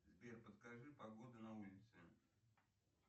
сбер подскажи погоду на улице